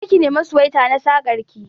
Je ki nema suwaita na sakar ki